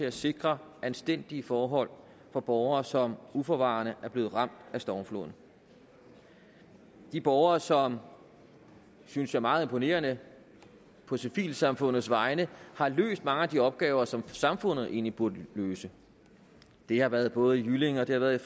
at sikre anstændige forhold for borgere som uforvarende er blevet ramt af stormfloden de borgere som synes jeg meget imponerende på civilsamfundets vegne har løst mange af de opgaver som samfundet egentlig burde løse det har været både i jyllinge og det har været i